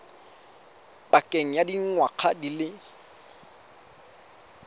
pakeng ya dingwaga di le